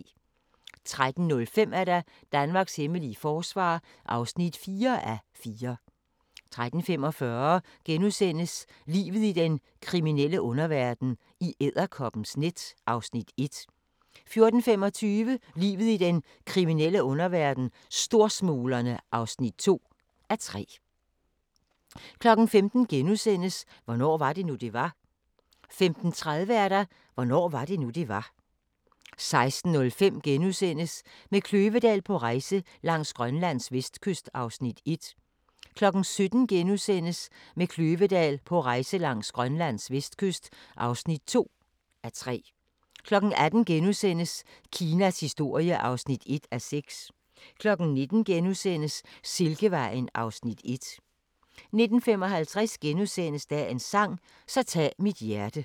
13:05: Danmarks hemmelige forsvar (4:4) 13:45: Livet i den kriminelle underverden - i edderkoppens net (1:3)* 14:25: Livet i den kriminelle underverden - Storsmuglerne (2:3) 15:00: Hvornår var det nu, det var? * 15:30: Hvornår var det nu, det var? 16:05: Med Kløvedal på rejse langs Grønlands vestkyst (1:3)* 17:00: Med Kløvedal på rejse langs Grønlands vestkyst (2:3)* 18:00: Kinas historie (1:6)* 19:00: Silkevejen (Afs. 1)* 19:55: Dagens sang: Så tag mit hjerte *